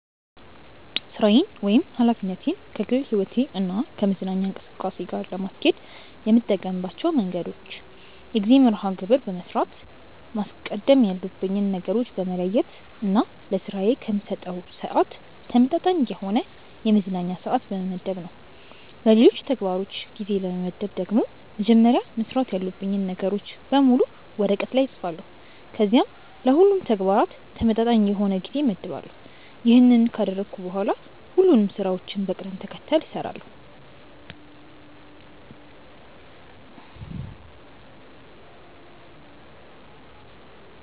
ሥራዬን ወይም ኃላፊነቴን ከግል ሕይወቴ እና ከመዝናኛ እንቅስቃሴ ጋር ለማስኬድ የምጠቀምባቸው መንገዶች የጊዜ መርሐ ግብር በመስራት፣ ማስቀደም ያሉብኝን ነገሮች በመለየት እና ለስራዬ ከምሰጠው ስዓት ተመጣጣኝ የሆነ የመዝናኛ ስዓት በመመደብ ነው። ለሌሎች ተግባሮች ጊዜ ለመመደብ ደግሞ መጀመሪያ መስራት ያሉብኝን ነገሮች በሙሉ ወረቀት ላይ እፅፋለሁ ከዚያም ለሁሉም ተግባራት ተመጣጣኝ የሆነ ጊዜ እመድባለሁ። ይሄንን ካደረግኩ በኋላ ሁሉንም ስራዎችን በቅደም ተከተላቸው እሰራለሁ።